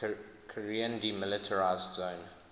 korean demilitarized zone